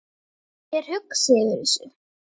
Ég er hugsi yfir þessu.